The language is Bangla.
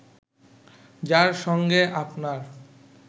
যার সঙ্গে আপনার